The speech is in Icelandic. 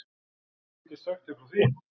Ég get sagt þér frá því!